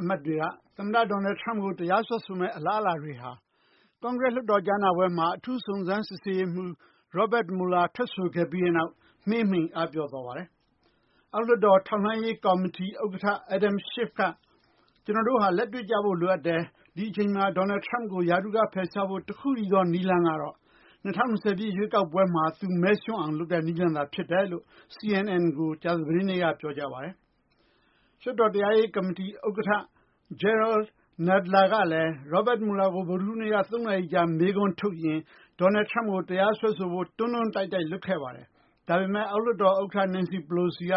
အမတ်တွေကို သမ္မတ Donald Trump ကို တရားစွဲဆိုမယ့်အလားအလာတွေဟာ ကွန်ဂရက် လွှတ်တော်ကြားနာပွဲမှာ အထူးစုံစမ်းစစ်ဆေးရေးမှူး Robert Mueller ထွက်ဆိုခဲ့ပြီးတဲ့နောက် မှေးမှိန်အားပျော့သွားပါတယ်။ အောက်လွှတ်တော် ထောက်လှမ်းရေး ကော်မတီ ဥက္ကဋ္ဌ Adam Schiff က ကျနော်တို့ဟာ လက်တွေ့ကျဖို့လိုအပ်တယ် ဒီအချိန်မှာ Donald Trump ကို ရာထူးက ဖယ်ရှားဖို့ တခုတည်းသော နည်းလမ်းကတော့ ၂၀၂၀ ရွေးကောက်ပွဲမှာ သူမဲရံှူးအောင် လုပ်တဲ့ နည်းလမ်းသာ ဖြစ်တယ်လို့ CNN ကို ကြာသပတေးနေ့က ပြောကြားပါတယ်။ လွှတ်တော် တရားရေး ကော်မတီ ဥက္ကဋ္ဌ Jerrold Nadler ကလည်း Robert Mueller ကို ဗုဒ္ဓဟူးနေ့က ၃ နာရီကြာ မေးခွန်းထုတ်ရင်း Donald Trump ကို တရားစွဲဆိုဖို့ တွန်းတွန်းတိုက်တိုက် လုပ်ခဲ့ပါတယ်။ ဒါပေမယ့် အောက်လွှတ်တော်ဥက္ကဋ္ဌ Nancy Pelosi က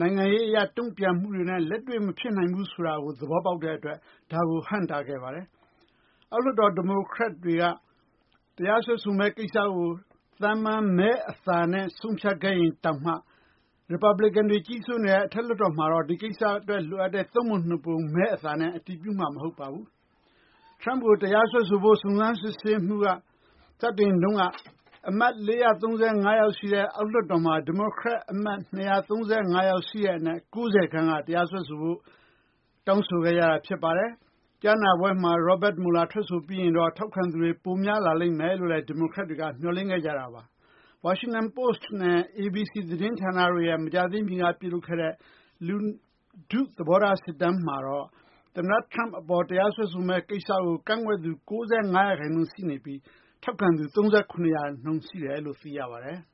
နိုင်ငံရေးအရ တုံ့ပြန်မှုတွေနဲ့ လက်တွေ့မဖြစ်နိုင်ဘူးဆိုတာကို သဘောပေါက်တဲ့အတွက် ဒါကို ဟန့်တားခဲ့ပါတယ်။ အောက်လွှတ်တော် ဒီမိုကရက်တွေက တရားစွဲဆိုမယ့် ကိစ္စကို သာမန် မဲအသာနဲ့ ဆုံးဖြတ်ခဲ့ရင်တောင်မှ ရီပတ်ပလစ်ကန်တွေ ကြီးစိုးနေတဲ့ အထက်လွှတ်တော်မှာတော့ ဒီကိစ္စအတွက် လိုအပ်တဲ့ ၃ ပုံ ၂ ပုံ မဲအသာနဲ့ အတည်ပြုမှာ မဟုတ်ပါဘူး။ Trump ကို တရားစွဲဆိုဖို့ စုံစမ်းစစ်ဆေးမှု စတင်တုန်းက အမတ် ၄၃၅ ယောက်ရှိတဲ့ အောက်လွှတ်တော်မှာ ဒီမိုကရက်အမတ် ၂၃၅ ယောက် ရှိတဲ့အနက် ၉၀ ခန့်က တရားစွဲဆိုဖို့ တောင်းဆိုခဲ့တာ ဖြစ်ပါတယ်။ ကြားနာပွဲမှာ Robert Mueller ထွက်ဆိုပြီးရင်တော့ ထောက်ခံသူတွေ ပိုများလာလိမ့်မယ်လို့ ဒီမိုကရက်တွေက မျှော်လင့်ခဲ့ကြတာပါ။ Washington Post နဲ့ ABC သတင်းဌာနတို့က မကြာသေးမီက ပြုလုပ်ခဲ့တဲ့ လူထု သဘောထား စစ်တမ်းမှာတော့ သမ္မတ Trump အပေါ် တရားစွဲဆိုမယ့် ကိစ္စကို ကန့်ကွက်သူ၅၉ ရာခိုင်နှုန်း ရှိနေပြီး ထောက်ခံသူ ၃၇ ရာခိုင်နှုန်းရှိတယ်လို့ သိရပါတယ်။